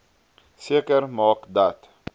seker maak dat